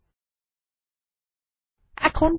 এই কমান্ড টি ব্যবহার করে দেখা যাক